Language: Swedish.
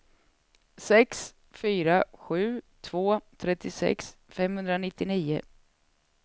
sex fyra sju två trettiosex femhundranittionio